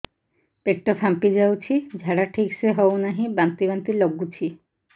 ପେଟ ଫାମ୍ପି ଯାଉଛି ଝାଡା ଠିକ ସେ ହଉନାହିଁ ବାନ୍ତି ବାନ୍ତି ଲଗୁଛି